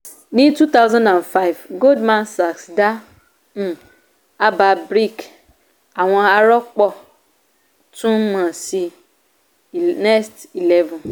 ní two thousand and five goldman sachs dá um àbá bric àwọn arọ́pọ̀ tún mọ̀ sí next eleven